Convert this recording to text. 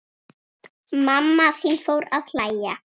Mamma þín fór að hlæja.